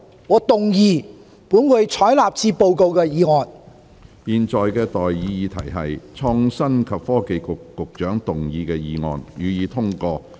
我現在向各位提出的待議議題是：創新及科技局局長動議的議案，予以通過。